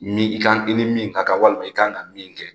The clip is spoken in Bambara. Min i kan i ni min ka kan walima i ka kan ka min kɛ